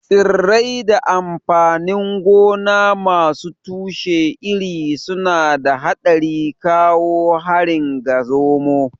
Tsirrai da amfanin gona masu tushe iri suna da haɗari kawo harin ga zomo.